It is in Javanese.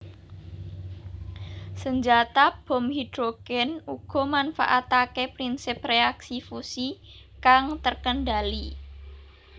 Senjata bom hidrogen uga manfaatake prinsip reaksi fusi kang terkendali